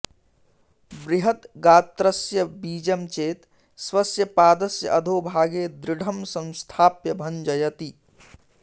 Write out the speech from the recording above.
बृहत् गात्रस्य बीजं चेत् स्वस्य पादस्य अधोभागे दृढं संस्थाप्य भञ्जयति